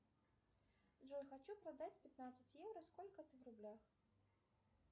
джой хочу продать пятнадцать евро сколько это в рублях